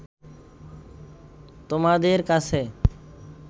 তোমাদের কাছে